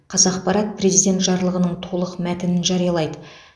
қазақпарат президент жарлығының толық мәтінін жариялайды